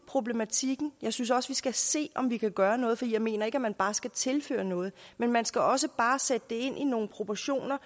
problematikken og jeg synes også vi skal se om vi kan gøre noget for jeg mener ikke at man bare skal tilføre noget men man skal også bare sætte det ind i nogle proportioner